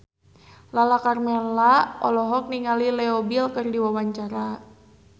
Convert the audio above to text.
Lala Karmela olohok ningali Leo Bill keur diwawancara